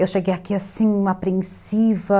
Eu cheguei aqui, assim, uma apreensiva.